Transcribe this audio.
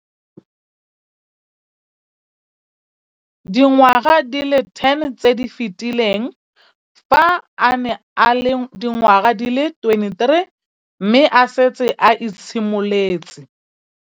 Dingwaga di le 10 tse di fetileng, fa a ne a le dingwaga di le 23 mme a setse a itshimoletse